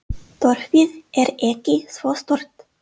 Þorpið er ekki svo stórt.